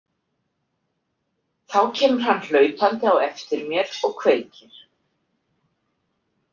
Þá kemur hann hlaupandi á eftir mér og kveikir.